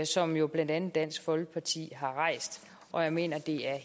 som jo blandt andet dansk folkeparti har rejst og jeg mener at det er